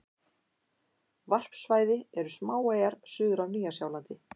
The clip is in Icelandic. Varpsvæði eru smáeyjar suður af Nýja-Sjálandi.